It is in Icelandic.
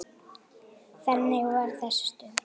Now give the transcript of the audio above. Þannig var þessi stund.